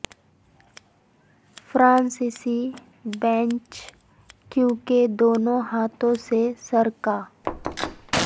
فرانسیسی بینچ کیونکہ دونوں ہاتھوں سے سر کا